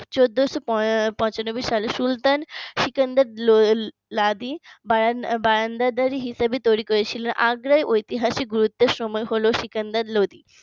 চোদ্দশো পঁচানব্বই সালের সুলতান সেকেন্দার লোধি বায়াংন্দার হিসেবে তৈরি করেছিল আগ্রা ইতিহাসের গুরুত্ব সময় হলো সিকান্দার লোধি